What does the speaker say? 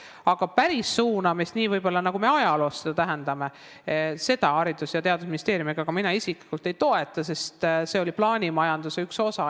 Aga päris suunamist, võib-olla nii, nagu me ajaloost seda mäletame, Haridus- ja Teadusministeerium ega ka mina isiklikult ei toeta, sest see oli plaanimajanduse üks osi.